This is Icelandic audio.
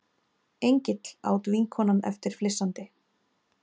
Engill, át vinkonan eftir flissandi.